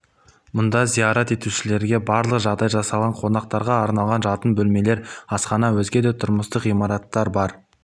мұнда зиярат етушілерге барлық жағдай жасалған қонақтарға арналған жатын бөлмелер асхана өзге де тұрмыстық ғимараттар бар